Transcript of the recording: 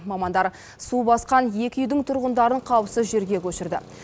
мамандар су басқан екі үйдің тұрғындарын қауіпсіз жерге көшірді